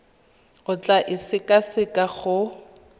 o tla e sekaseka go